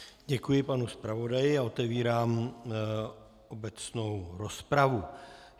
Děkuji panu zpravodaji a otevírám obecnou rozpravu.